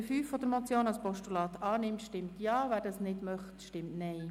Wer die Ziffer 5 der Motion als Postulat annimmt, stimmt Ja, wer dies ablehnt, stimmt Nein.